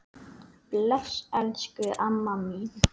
Bless, elsku amma mín.